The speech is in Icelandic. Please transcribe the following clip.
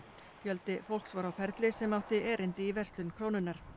fjöldi fólks var á ferli sem átti erindi í verslun Krónunnar